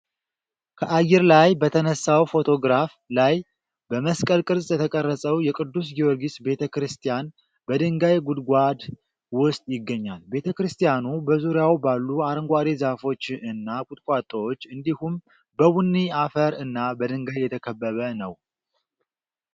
ከአየር ላይ በተነሳው ፎቶግራፍ ላይ በመስቀል ቅርፅ የተቀረፀው የቅዱስ ጊዮርጊስ ቤተ-ክርስቲያን በድንጋይ ጉድጓድ ውስጥ ይገኛል። ቤተ-ክርስቲያኑ በዙሪያው ባሉ አረንጓዴ ዛፎች እና ቁጥቋጦዎች እንዲሁም በቡኒ አፈር እና በድንጋይ የተከበበ ነው።